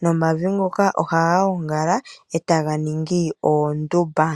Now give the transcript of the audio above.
nomavi ngoka oha ga gongala eta ga ningi oondumba.